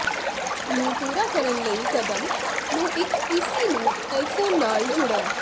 ਨੂੰ ਪੂਰਾ ਕਰਨ ਲਈ ਕਦਮ ਨੂੰ ਇੱਕ ਪੀਸੀ ਨੂੰ ਆਈਫੋਨ ਨਾਲ ਜੁੜਨ